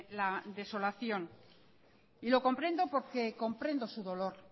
la desolación y lo comprendo porque comprendo su dolor